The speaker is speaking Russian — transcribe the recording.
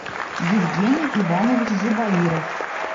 евгений иванович зубаиров